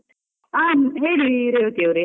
ಹಾ ಹೇಳಿ, ರೇವತಿ ಅವ್ರೆ.